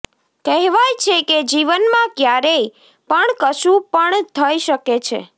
કહેવાય છે કે જીવનમાં ક્યારેય પણ કશું પણ થઇ શકે છે